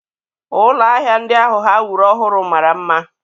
Ụlọ ahịa ndị ahụ ha wuru ọhụrụ mara mma.